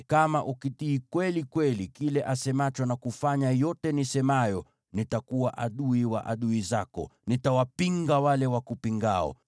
Kama ukitii kweli kweli kile asemacho na kufanya yote nisemayo, nitakuwa adui wa adui zako, na nitawapinga wale wakupingao.